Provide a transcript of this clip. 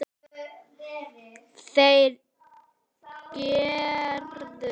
Þeir gerðu það.